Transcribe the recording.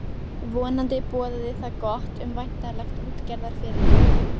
Vonandi boðaði það gott um væntanlegt útgerðarfyrirtæki.